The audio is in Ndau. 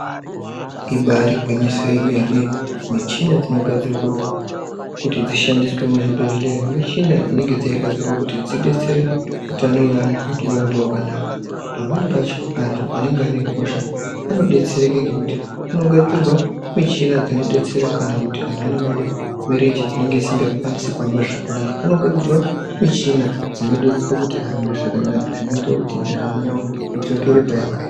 Ibari gwinyiso yemene. Michina dzinogadzirwa kuti dzishandiswe muzvibhedhlera, michina dzinenge dzegadzirwa kuti dzidetsere utano wevantu kuti urambe hwakanaka. Pamweni pacho antu anenge ane hosha, anodetsereka ngekuti kunogadzirwa michina dzinodetsera kana kuti vantu vanenge vane mirenje dzinenge dzisiri kukwanisa kuhamba zvakanaka. Kunogadzirwa michina dzinodetsera kuti ahambe zvakanaka zvinoita kuti ndaramo dzavo dzidzokere payanga iri.